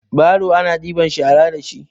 baro ana ɗibar shara da shi